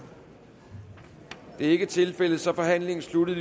det er ikke tilfældet så er forhandlingen sluttet